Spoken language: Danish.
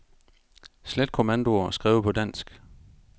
Slet kommandoer skrevet på dansk.